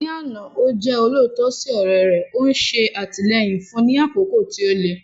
Ní àná, ó jẹ́ olóòótọ́ sí ọ̀rẹ́ rẹ̀, ó ń ṣe àtìlẹ́yìn fún un ní àkókò tí ó le.